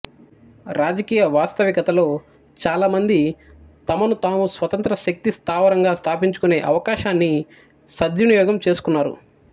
రాజకీయ వాస్తవికతలో చాలామంది తమను తాము స్వతంత్ర శక్తి స్థావరంగా స్థాపించుకునే అవకాశాన్ని సద్వినియోగం చేసుకున్నారు